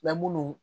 Mɛ munnu